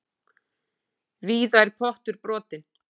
Víða er pottur brotinn.